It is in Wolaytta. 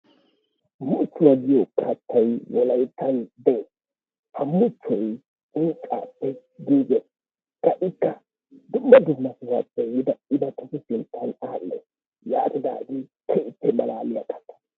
Muchchuwa giyo kattay wolayittan des. Ha muchchoy unccaappe giiges. Qa ikka dumma dumma sohaappe yiida imattatu sinttan aadhes. Yaatidaagee keehippe malaaliyaba.